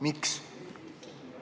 Miks?